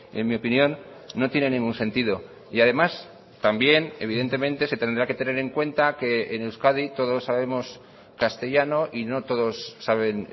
en mi opinión no tiene ningún sentido y además también evidentemente se tendrá que tener en cuenta que en euskadi todos sabemos castellano y no todos saben